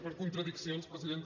per contradiccions presidenta